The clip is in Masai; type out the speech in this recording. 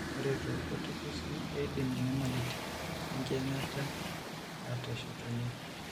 Ore toorkuti kesii, keidim inyamalitin enkiyang'ata aateshetunye.